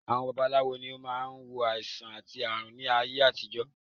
Àwọn babaláwo ló máa ń wo àìsàn àti ààrùn láyé àtijọ́